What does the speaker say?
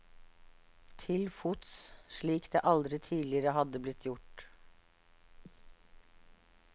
Til fots, slik det aldri tidligere hadde blitt gjort.